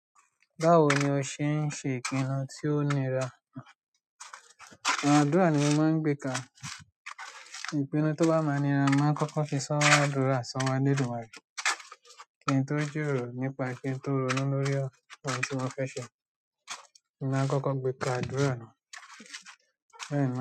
Báwo ni o ṣe ń ṣe ìpinnu tí ó nira? Àwọn àdúrà ni mo máa ń gbè ka. Ìpinnu tó bá ma nira, màá kọ́kọ́ fi sọ́wọ́ àdúrà sọ́wọ́ elédùmarè. Kí n tó jíròrò nípa kí n tó ronú lórí ọ̀rọ̀ ohun tí mo fẹ́ ṣe, mo máa ń kọ́kọ́ gbé e ka ádùrá ná.